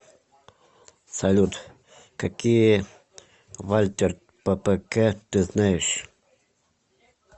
салют какие вальтер ппк ты знаешь